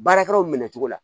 Baarakɛlaw minɛ cogo la